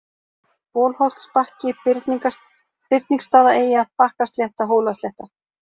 Bolholtsbakki, Birningsstaðaeyja, Bakkaslétta, Hólaslétta